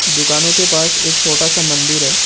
दुकानों के पास एक छोटा सा मंदिर है।